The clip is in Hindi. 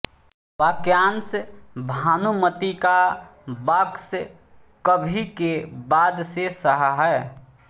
वाक्यांश भानुमती का बॉक्स कभी के बाद से सहा है